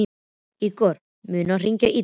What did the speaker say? Ígor, mun rigna í dag?